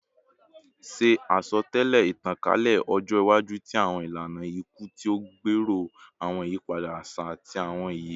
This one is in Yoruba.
Ṣe asọtẹlẹ itankalẹ ọjọ iwaju ti awọn ilana iku ti o gbero awọn iyipada aṣa ati awọn iye